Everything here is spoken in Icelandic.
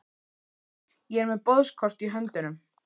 Ég er með boðskort í höndunum.